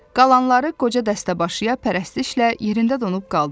Qalanları qoca dəstəbaşıya pərəstişlə yerində donub qaldılar.